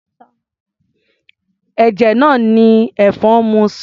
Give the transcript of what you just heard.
Ẹ̀jẹ̀ náà ni ẹ̀fọn ń mu sanra.